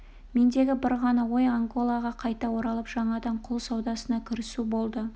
мендегі бір ғана ой анголаға қайта оралып жаңадан құл саудасына кірісу болды